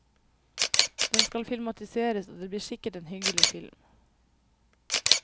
Den skal filmatiseres, og det blir sikkert en hyggelig film.